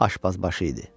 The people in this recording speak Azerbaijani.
Aşpazbaşı idi.